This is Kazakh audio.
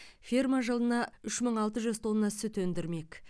ферма жылына үш мың алты жүз тонна сүт өндірмек